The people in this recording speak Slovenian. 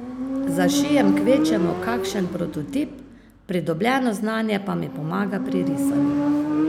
Zašijem kvečjemu kakšen prototip, pridobljeno znanje pa mi pomaga pri risanju.